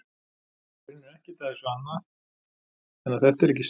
Í rauninni er ekkert að þessu annað en að þetta er ekki satt.